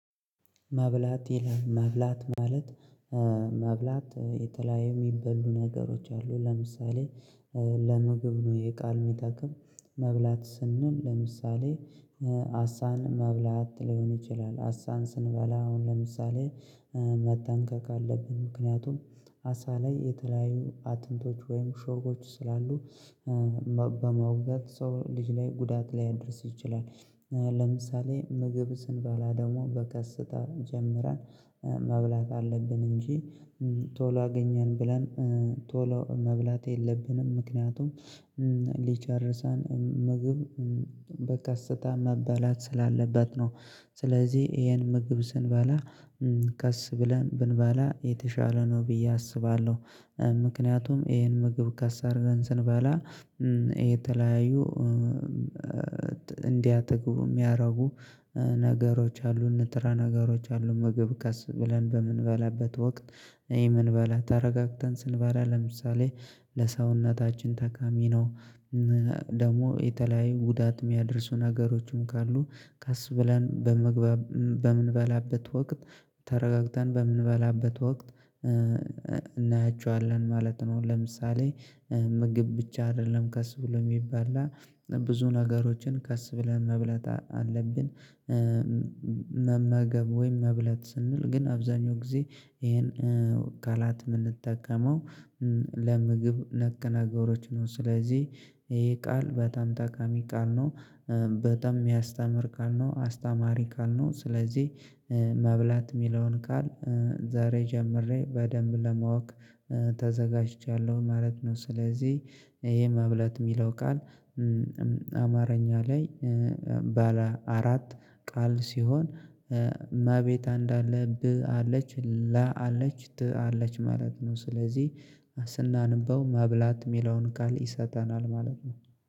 ማብላት ይላል ማብላት ማለት ማብላት የተለያዩ የሚበሉ ነገሮች አሉ። ለምሳሌ ለምግብ ነው ይህ ቃል የሚጠቅም መብላት ስንል ለምሳሌ አሳን መብላት ሊሆን ይችላል። አሳን ስንበላ አሁን ለምሳሌ መጠንቀቅ አለብኝ ምክንያቱም አሳ ላይ የተለያዩ አጥንቶች ወይም ሾሆች ስላሉ በመውጋት ሰው ልጅ ላይ ጉዳት ላይ አድርሶ ይችላል። ለምሳሌ ምግብ ስንበላ ደግሞ በቀስታ ጀምረን መብላት አለብን እንጂ ቶሎ አገኘን ብለን ቶሎ መብላት የለብንም። ምክንያቱም ሊጨርሰን ምግብ በቀስታ መበላት ስላለበት ነው። ስለዚህ ይሄን ምግብ ስንበላ ቀስ ብለን ብንበላ የተሻለ ነው ብዬ አስባለሁ። ምክንያቱም ይሄን ምግብ ቀስ አርገን ስንበላ የተለያዩ እንዲያጠግቡ የሚያደርጉ ነገሮች አሉ ንጥረ ነገሮች አሉ። ምግብ ከስ ብለን በምንበላበት ወቅት ይሄ ምንበላ ተረጋግተን ስንበላ ለምሳሌ ለሰውነታችን ጠቃሚ ነው። ደግሞ የተለያዩ ጉዳት የሚያደርሱ ነገሮችም ካሉ ቀስ ብለን በምንበላበት ወቅት ተረጋግተን በምንበላበት ወቅት እናያቸዋለን ማለት ነው። ለምሳሌ ምግብ ብቻ አይደለም ቀስ ብሎ የሚባል ብዙ ነገሮችን ቀስ ብለን መብላት አለብን። መመገብ ወይም መብላት ስንል ግን አብዛኛው ጊዜ ይሄን ቃላት የምንጠቀመው ለምግብ ነክ ነገሮች ነው። ስለዚህ ይሄ ቃል በጣም ጠቃሚ ቃል ነው። በጣም የሚያስተምር ቃል ነው አስተማሪ ቃል ነው። ስለዚህ መብላት የሚለውን ቃል ዛሬ ጀምሬ በደንብ ለማወቅ ተዘጋጅቻለሁ ማለት ነው። ስለዚህ ይሄ መብለት የሚለው ቃል አማረኛ ላይ ባለ አራት ቃል ሲሆን መቤታ እንድ አለ ብ አለች ላ አለች ት አለች ማለት ነው። ስለዚህ ስናንበው መብላት የሚለውን ቃል ይሰጠናል ማለት ነው